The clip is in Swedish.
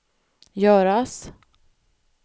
göras